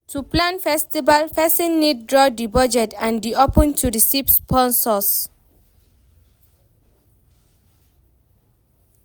To plan festival persin need draw di budget and de open to receive sponsors